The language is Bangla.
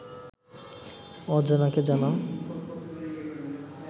অজানাকে জানা